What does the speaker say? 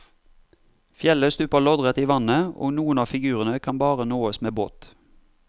Fjellet stuper loddrett i vannet og noen av figurene kan bare nåes med båt.